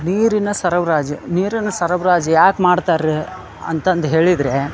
ನೀರಿನ ಸರಬರಾಜು ನೀರಿನ ಸರಬರಾಜು ಯಾಕ್ ಮಾಡತ್ತರ ಅಂತ ಅಂದ ಹೇಳಿದ್ರೆ --